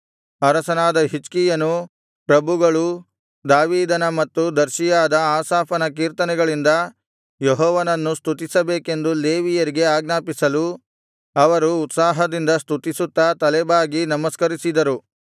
ಅರಸನಾದ ಹಿಜ್ಕೀಯನೂ ಪ್ರಭುಗಳೂ ದಾವೀದನ ಮತ್ತು ದರ್ಶಿಯಾದ ಆಸಾಫನ ಕೀರ್ತನೆಗಳಿಂದ ಯೆಹೋವನನ್ನು ಸ್ತುತಿಸಬೇಕೆಂದು ಲೇವಿಯರಿಗೆ ಆಜ್ಞಾಪಿಸಲು ಅವರು ಉತ್ಸಾಹದಿಂದ ಸ್ತುತಿಸುತ್ತಾ ತಲೆಬಾಗಿ ನಮಸ್ಕರಿಸಿದರು